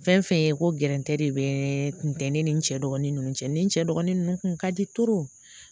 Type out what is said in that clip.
Fɛn fɛn ye ko gɛntɛ de bɛ kun tɛ ne ni n cɛ dɔgɔnin ninnu cɛ ni n cɛ dɔgɔnin ninnu kun ka di